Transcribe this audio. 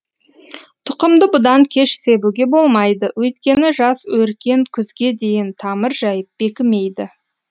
тұқымды бұдан кеш себуге болмайды өйткені жас өркен күзге дейін тамыр жайып бекімейді